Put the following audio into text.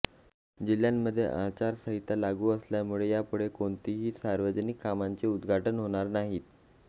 जिह्यामध्ये आचारसंहिता लागू असल्यामुळे यापुढे कोणतीही सार्वजनिक कामांचे उद्घाटन होणार नाही